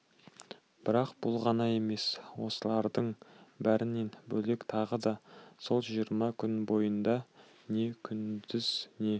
бірақ бұл ғана емес осылардың бәрінен бөлек тағы да сол жиырма күн бойында не күндіз не